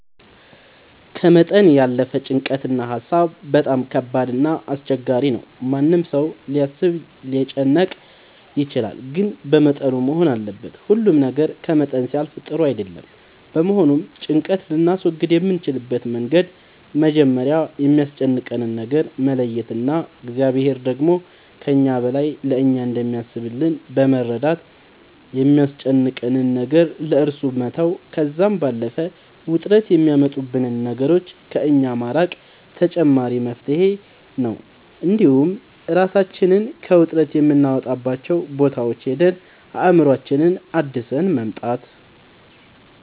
ከመጠን ያለፈ ጭንቀት እና ሀሳብ በጣም ከባድ እና አስቸጋሪ ነው ማንም ሰው ሊያስብ ሊጨነቅ ይችላል ግን በመጠኑ መሆን አለበት ሁሉ ነገር ከመጠን ሲያልፍ ጥሩ አይደለም በመሆኑም ጭንቀት ልናስወግድ የምንችልበት መንገድ መጀመሪያ የሚያስጨንቀንን ነገር መለየት እና እግዚአብሔር ደግሞ ከእኛ በላይ ለእኛ እንደሚያስብልን በመረዳት የሚያስጨንቀንን ነገር ለእሱ መተው ከዛም ባለፈ ውጥረት የሚያመጡብንን ነገሮች ከእኛ ማራቅ ተመራጭ መፍትሄ ነው እንዲሁም እራሳችንን ከውጥረት የምናወጣባቸው ቦታዎች ሄደን አእምሮአችንን አድሰን መምጣት